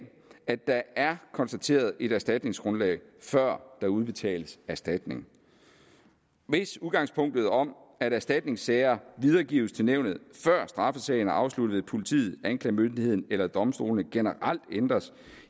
at der er konstateret et erstatningsgrundlag før der udbetales erstatning hvis udgangspunktet om at erstatningssager videregives til nævnet før straffesagen er afsluttet af politiet anklagemyndigheden eller domstolene generelt ændres